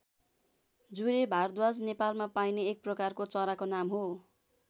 जुरे भारद्वाज नेपालमा पाइने एक प्रकारको चराको नाम हो।